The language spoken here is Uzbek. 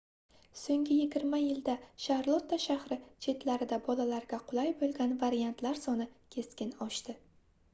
soʻnggi 20 yilda sharlotta shahri chetlarida bolalarga qulay boʻlgan variantlar soni keskin oshdi